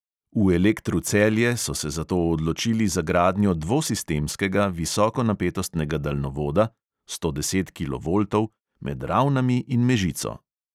V elektru celje so se zato odločili za gradnjo dvosistemskega visokonapetostnega daljnovoda (sto deset kilovoltov) med ravnami in mežico.